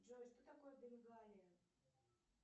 джой что такое бенгалия